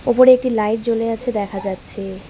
ওপরে একটি লাইট জ্বলে আছে দেখা যাচ্ছে।